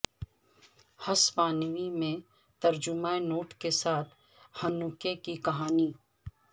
ہسپانوی میں ترجمہ نوٹ کے ساتھ ہنوکہ کی کہانی